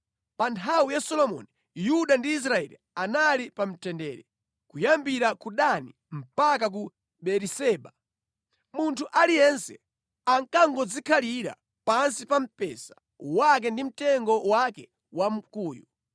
Pa nthawi ya Solomoni, Yuda ndi Israeli anali pa mtendere, kuyambira ku Dani mpaka ku Beeriseba. Munthu aliyense ankangodzikhalira pansi pa mpesa wake ndi mtengo wake wa mkuyu.